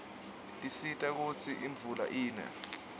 tisisita kutsi imvula ine